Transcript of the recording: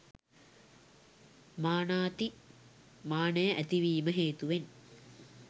මානාති මානය ඇතිවීම හේතුවෙන්